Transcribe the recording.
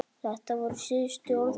Þetta voru síðustu orð pabba.